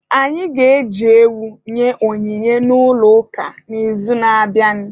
Anyị ga-eji ewu nye onyinye n'ụlọ ụka n'izuụka na-abịanụ.